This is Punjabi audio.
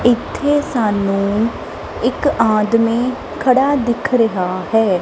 ਇੱਥੇ ਸਾਨੂੰ ਇੱਕ ਆਦਮੀ ਖੜਾ ਦਿਖ ਰਿਹਾ ਹੈ।